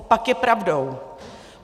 Opak je pravdou.